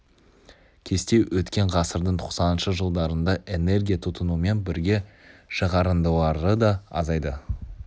кесте өткен ғасырдың тоқсаныншы жылдарында энергия тұтынумен бірге шығарындылары да азайды